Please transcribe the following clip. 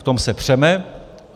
V tom se přeme.